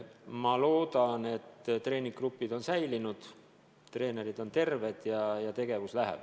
Ma loodan, et treeningugrupid on alles, treenerid on terved ja tegevus läheb edasi.